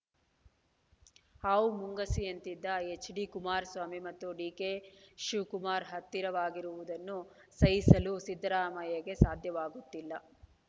ಹಾವು ಮುಂಗುಸಿಯಂತಿದ್ದ H D Kumaraswamy ಮತ್ತು ಡಿ ಕೆ ಶಿವಕುಮಾರ್‌ ಹತ್ತಿರವಾಗಿರುವುದನ್ನು ಸಹಿಸಲು ಸಿದ್ದರಾಮಯ್ಯಗೆ ಸಾಧ್ಯವಾಗುತ್ತಿಲ್ಲ